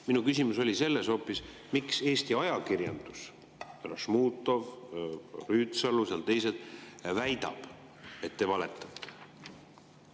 Minu küsimus oli hoopis: miks Eesti ajakirjandus – härra Šmutov, proua Rüütsalu ja teised – väidab, et te valetate?